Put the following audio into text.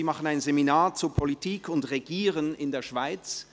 Sie machen ein Seminar zu Politik und Regieren in der Schweiz.